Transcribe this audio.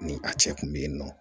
Ni a cɛ kun be yen nɔ